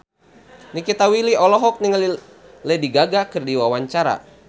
Nikita Willy olohok ningali Lady Gaga keur diwawancara